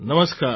નમસ્કાર